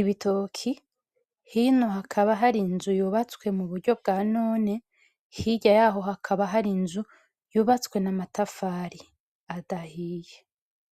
ibitoki hino hakaba hari inzu yubatswe muburyo bwa none hirya yaho hakaba hari inzu yubatswe mumatafari adahiye.